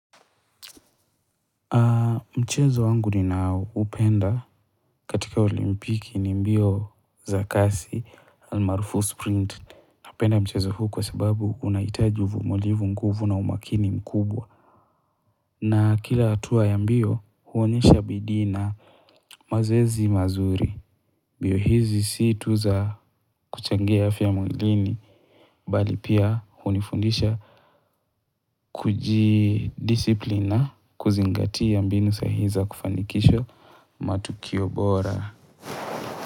Mchezo wangu ninaupenda katika olimpiki ni mbio za kasi almaarufu sprint. Napenda mchezo huu kwa sababu unahitaji uvumilivu nguvu na umakini mkubwa. Na kila hatua ya mbio huonyesha bidii na mazoezi mazuri. Mbio hizi si tu za kuchangia afya mwilini bali pia unifundisha kuji disiplina kuzingatia mbinu sahihi za kufanikisho matukio bora.